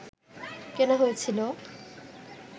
কেনা হয়েছিল